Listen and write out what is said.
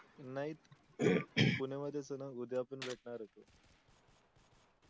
नाही एक नाही पुण्यामधीच आहेणा उदया पण भेटणार आहेत